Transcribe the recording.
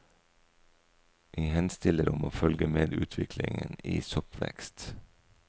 Vi henstiller om å følge med utviklingen i soppvekst.